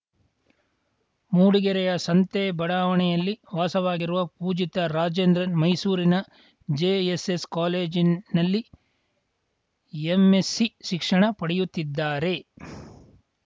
ಮೂಡಿಗೆರೆಯ ಸಂತೆ ಬಡಾವಣೆಯಲ್ಲಿ ವಾಸವಾಗಿರುವ ಪೂಜಿತ್‌ ರಾಜೇಂದ್ರನ್‌ ಮೈಸೂರಿನ ಜೆಎಸ್‌ಎಸ್‌ ಕಾಲೇಜಿನಲ್ಲಿ ಎಂಎಸ್ಸಿ ಶಿಕ್ಷಣ ಪಡೆಯುತ್ತಿದ್ದಾರೆ